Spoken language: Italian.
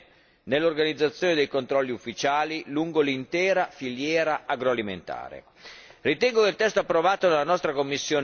e creare un quadro normativo comune nell'organizzazione dei controlli ufficiali lungo l'intera filiera agroalimentare.